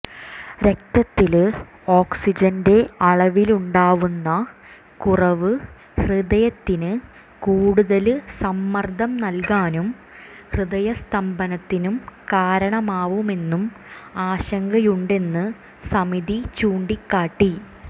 രക്തത്തില് ഓക്സിജന്റെ അളവിലുണ്ടാവുന്ന കുറവ് ഹൃദയത്തിന് കൂടുതല് സമ്മര്ദം നല്കാനും ഹൃദയസ്തംഭനത്തിനും കാരണമാവുമെന്നും ആശങ്കയുണ്ടെന്ന് സമിതി ചൂണ്ടിക്കാട്ടി